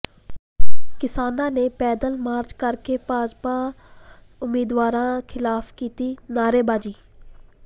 ਕਿਸਾਨਾਂ ਨੇ ਪੈਦਲ ਮਾਰਚ ਕਰਕੇ ਭਾਜਪਾ ਉਮੀਦਵਾਰਾਂ ਖ਼ਿਲਾਫ਼ ਕੀਤੀ ਨਾਅਰੇਬਾਜ਼ੀ